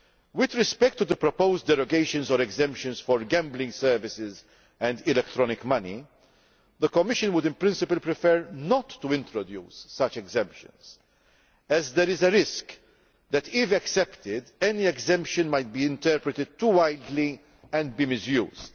With respect to the proposed derogations or exemptions for gambling services and electronic money, the Commission would, in principle, prefer not to introduce such exemptions as there is a risk that, if accepted, any exemption might be interpreted too widely and be misused.